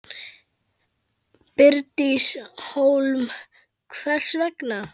Bryndís Hólm: Hvers vegna?